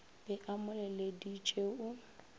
be a mo leleditše o